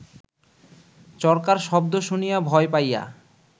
চরকার শব্দ শুনিয়া ভয় পাইয়া